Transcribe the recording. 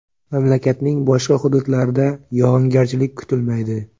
Mamlakatning boshqa hududlarida yog‘ingarchilik kutilmaydi.